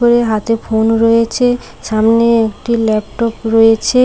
দুই হাতে ফোন রয়েছে। সামনে একটি ল্যাপটপ রয়েছে।